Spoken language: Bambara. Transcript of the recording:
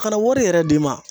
Kana wari yɛrɛ d'i ma